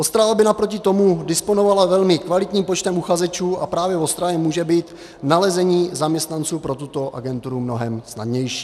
Ostrava by naproti tomu disponovala velmi kvalitním počtem uchazečů a právě v Ostravě může být nalezení zaměstnanců pro tuto agenturu mnohem snadnější.